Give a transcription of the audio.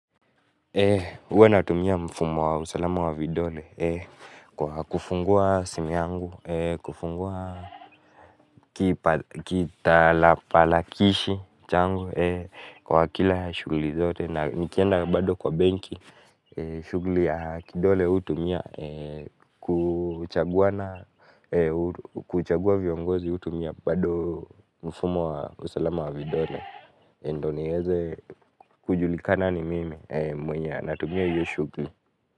Huwa natumia mfumo wa usalama wa vidole kufungua simu yangu, kufungua kipatakilishi changu kwa kila shughuli zote na nikienda bado kwa banki shughuli ya kidole hutumia kuchagua viongozi hutumia bado mfumo wa usalama wa vidole. Ndiyo niweze kujulikana ni mimi, mwenya, anatumia hiyo shughuli.